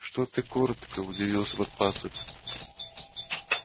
что ты коротко удивился подпасок